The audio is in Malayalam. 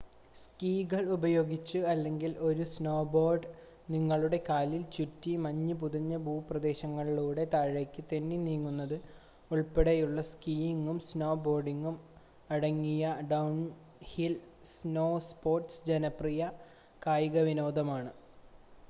സ്കി കൾ ഉപയോഗിച്ച് അല്ലെങ്കിൽ ഒരു സ്നോബോർഡ് നിങ്ങളുടെ കാലിൽ ചുറ്റി മഞ്ഞ് പുതച്ച ഭൂപ്രദേശത്തിലൂടെ താഴേക്ക് തെന്നി നീങ്ങുന്നത് ഉൾപ്പെടെയുള്ള, സ്കിയിംങും സ്നോ ബോർഡിംങും അടങ്ങിയ ഡൗൺഹിൽ സ്നോസ്പോർട്സ് ജനപ്രിയമായ കായികവിനോദങ്ങളാണ്